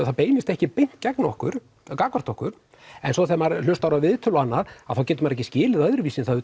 það beinist ekki beint gegn okkur okkur en svo þegar maður hlustar á viðtöl og annað þá getur maður ekki skilið það öðruvísi en það